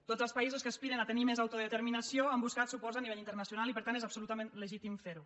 tots els països que aspiren a tenir més autodeterminació han buscat suports a nivell internacional i per tant és absolutament legítim ferho